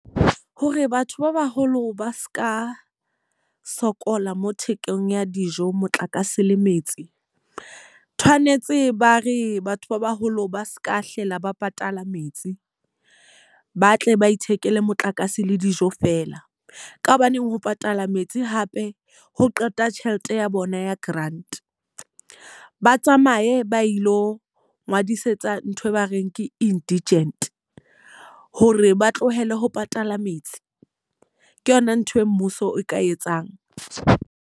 Hore batho ba baholo ba seka sokola mo thekong ya dijo, motlakase le metsi. Tshwanetse ba re batho ba baholo ba seka hlola ba patala metsi, ba tle ba ithekele motlakase le dijo fela. Ka hobaneng ho patala metsi hape ho qeta tjhelete ya bona ya grant. Ba tsamaye ba ilo ngodisetsa ntho e ba reng ke indigent hore ba tlohele ho patala metsi. Ke yona ntho e mmuso e ka etsang.